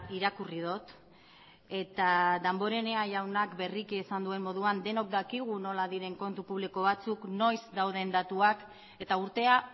irakurri dut eta damborenea jaunak berriki esan duen moduan denok dakigu nola diren kontu publiko batzuk noiz dauden datuak eta urtea